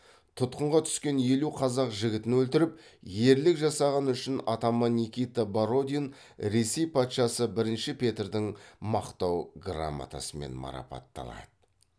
тұтқынға түскен елу қазақ жігітін өлтіріп ерлік жасағаны үшін атаман никита бородин ресей патшасы бірінші петрдің мақтау грамотасымен марапатталады